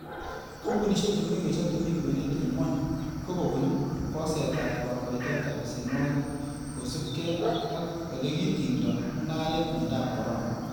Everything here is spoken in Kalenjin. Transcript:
Kompunisiek che mengech ak chemi kwenet en gwony ko kobun bosetat kokoitoetab besenwogik kosiibge ak ele kitingdo mungaret miondob corona.